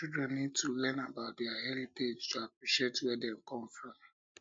children need to learn um about their heritage to appreciate um where dem come from